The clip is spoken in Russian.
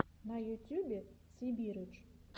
на ютьюбе сибирыч